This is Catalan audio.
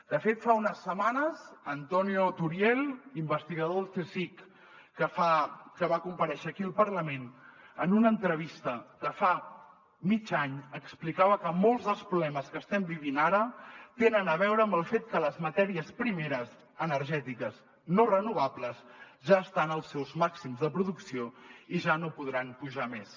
de fet fa unes setmanes antonio turiel investigador del csic que va comparèixer aquí al parlament en una entrevista de fa mig any explicava que molts dels problemes que estem vivint ara tenen a veure amb el fet que les matèries primeres energètiques no renovables ja estan als seus màxims de producció i ja no podran pujar més